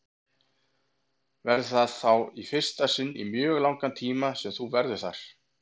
Verður það þá í fyrsta sinn í mjög langan tíma sem þú verður þar?